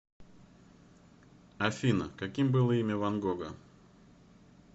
афина каким было имя ван гога